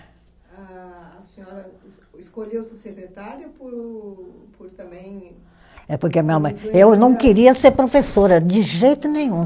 A a senhora escolheu ser secretária por por também. É porque a minha mãe, eu não queria ser professora, de jeito nenhum.